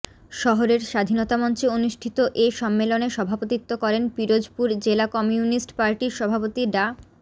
শহরের স্বাধীনতা মঞ্চে অনুষ্ঠিত এ সম্মেলনে সভাপতিত্ব করেন পিরোজপুর জেলা কমিউনিস্ট পার্টির সভাপতি ডা